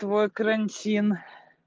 твой карантин